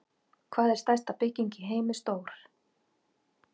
Hvað er stærsta bygging í heimi stór?